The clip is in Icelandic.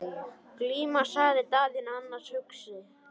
Glíma, sagði Daðína annars hugar.